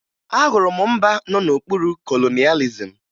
Ahụrụ m mba nọ n'okpuru kolonịalizim